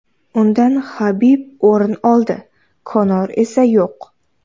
Undan Habib o‘rin oldi, Konor esa yo‘q.